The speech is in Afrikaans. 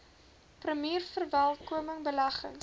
premier verwelkom beleggings